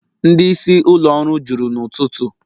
Ndị isi ụlọ ọrụ juru n'ụtụtụ